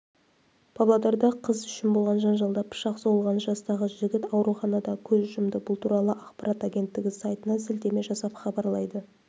павлодарда қыз үшін болған жанжалда пышақ сұғылған жастағы жігіт ауруханада көз жұмды бұл туралы ақпарат агенттігі сайтына сілтеме жасап хабарлайды